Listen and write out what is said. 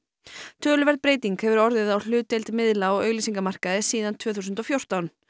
töluverð breyting hefur orðið á hlutdeild miðla á auglýsingamarkaði síðan tvö þúsund og fjórtán